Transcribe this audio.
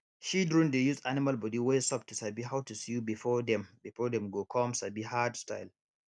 shidren dey use animal bodi wey soft to sabi how to sew before dem before dem go come sabi hard style